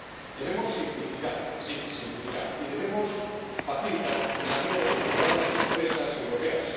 Debemos simplificar, sí simplificar, y debemos facilitar la vida de los ciudadanos y empresas europeos.